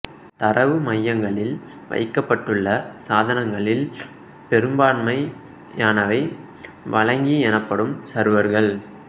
தரவு மையங்களில் வைக்கப்பட்டுள்ள சாதனங்களில் பெரும்பான்மையானவை வழங்கி எனப்படும் சர்வர்கள்